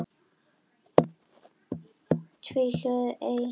Sama gerðist með tvíhljóðið ey.